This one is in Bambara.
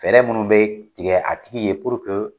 Fɛɛrɛ minnu be tigɛ a tigi ye